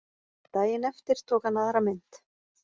Daginn eftir tók hann aðra mynd